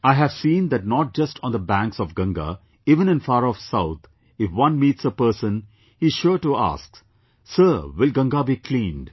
I have seen that not just on the banks of Ganga, even in far off South if one meets a person, he is sure to ask, " Sir, will Ganga be cleaned